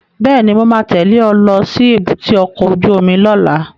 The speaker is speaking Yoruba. Bẹ́ẹ̀ni, mo ma tẹ́lẹ̀ ẹ lọ sí èbúté ọkọ̀ ojú omi lọ́la